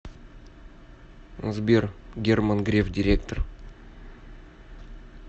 сбер герман греф директор